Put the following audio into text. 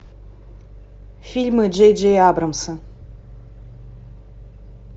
фильмы джей джей абрамса